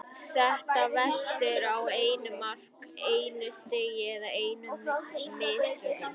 Þetta veltur á einu mark, einu stigi eða einum mistökum.